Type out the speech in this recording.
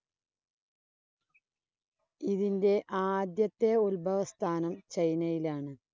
ഇതിൻ്റെ ആദ്യത്തെ ഉത്‌ഭവസ്ഥാനം ചൈനയിലാണ്.